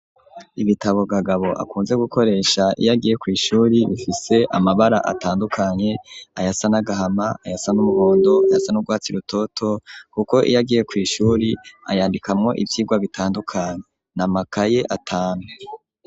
Ibitabo Kagabo akunze gukoresha iyagiye kw'ishuri bifise amabara atandukanye ayasa n' agahama ayasan'umuhondo ayasa n'urwatsi irutoto kuko iyagiye kw'ishuri ayandikamwo ivyigwa bitandukanye n'amakaye atanu.